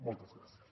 moltes gràcies